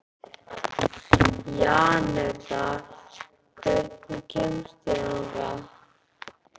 Janetta, hvernig kemst ég þangað?